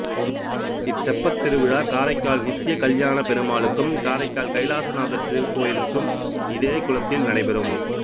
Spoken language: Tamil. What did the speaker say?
இத்தெப்பத் திருவிழா காரைக்கால் நித்தியக்கல்யான பெருமாலுக்கும் காரைக்கால் கைலாசநாதர் திருக்கோயிலுக்கும் இதே குளத்தில் நடைபெறும்